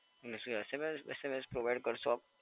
મને શું SMSSMS provide કરશો આપ?